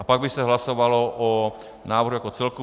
A pak by se hlasovalo o návrhu jako celku.